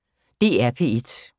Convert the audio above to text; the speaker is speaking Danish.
DR P1